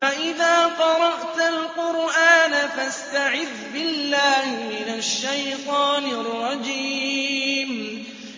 فَإِذَا قَرَأْتَ الْقُرْآنَ فَاسْتَعِذْ بِاللَّهِ مِنَ الشَّيْطَانِ الرَّجِيمِ